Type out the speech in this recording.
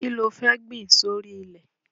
Kí lo fẹ́ gbìn sórí ilẹ̀?